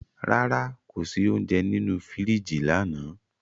Rara, ko si ounjẹ ninu firiji lana